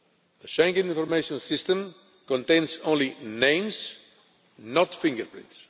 The Schengen Information System contains only names, not fingerprints.